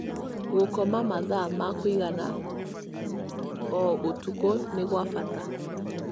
Gũkoma mathaa ma kũigana o ũtukũ nĩ gwa bata.